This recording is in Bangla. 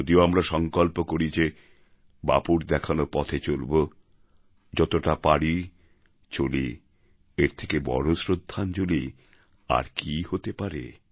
যদি আমরা সঙ্কল্প করি যে বাপুর দেখানো পথে চলব যতটা পারি চলি এর থেকে বড় শ্রদ্ধাঞ্জলি আর কি হতে পারে